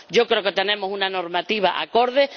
Yo creo que tenemos una normativa acorde.